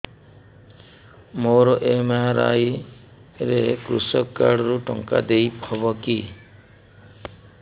ମୋର ଏମ.ଆର.ଆଇ ରେ କୃଷକ କାର୍ଡ ରୁ ଟଙ୍କା ଦେଇ ହବ କି